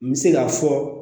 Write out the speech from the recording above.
N bɛ se k'a fɔ